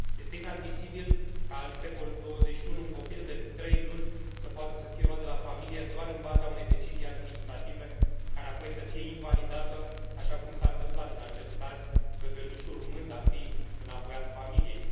Este inadmisibil ca în secolul XXI un copil de trei luni să poată fi luat de la familie doar în baza unei decizii administrative, care apoi să fie invalidată, așa cum s a întâmplat în acest caz, bebelușul urmând a fi înapoiat familiei.